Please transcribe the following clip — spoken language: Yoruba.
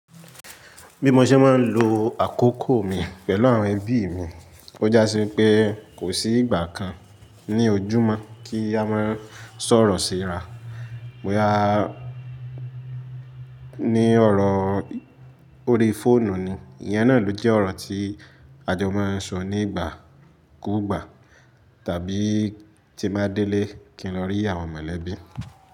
Bí mo ṣe máa ń lo àkókò mi pẹ̀lú àwọn ẹbí mi, ó jási pé kò sí ìgbà kan, ní ojúmọ́ kí a máa sọ̀rọ̀ síra, boya ní ọ̀rọ̀ orí fóònù nu, ìyẹn náà ló jẹ́ ọ̀rọ̀ tí a jọ máa ń sọ nígbà kúgbà tàbí tí mo ba dẹ́lẹ̀ kí n lọ rí àwọn mọ̀lẹ́bí.